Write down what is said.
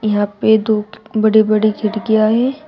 यहां पे दो बड़े बड़े खिड़कियां हैं।